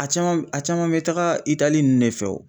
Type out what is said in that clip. A caman a caman bɛ taga Itali nunnu de fɛ o.